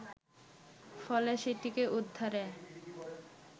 ফলে সেটিকে উদ্ধারে